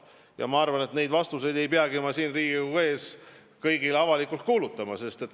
Ja ma arvan, et neid asju ei peagi ma siin Riigikogu ees kõigile avalikult kuulutama.